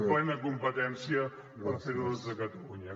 plena competència per fer ho des de catalunya